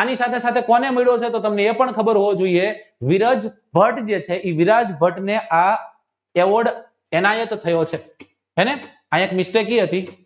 આની સાથે કોને એ પણ ખબર હોવી જોઇએ વિરાજ ભટ્ટ જે છે એ વિરાજ ભટ્ટ eavord ઇનાયત થયો છે સી હતી